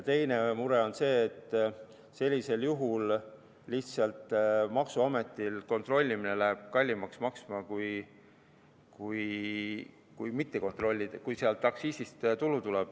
Teine mure on selles, et kui sealt aktsiisist tulu tuleb, siis sellisel juhul läheb maksuametil kontrollimine kallimaks maksma.